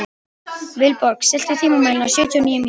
Vilborg, stilltu tímamælinn á sjötíu og níu mínútur.